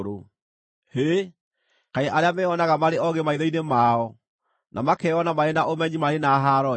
Hĩ! Kaĩ arĩa meyonaga marĩ oogĩ maitho-inĩ mao, na makeyona marĩ na ũmenyi marĩ na haaro-ĩ!